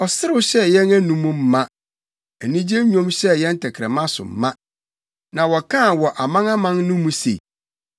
Ɔserew hyɛɛ yɛn anom ma, anigye nnwom hyɛɛ yɛn tɛkrɛma so ma. Na wɔkaa wɔ amanaman no mu se, “ Awurade ayɛ nneɛma akɛse ama wɔn.”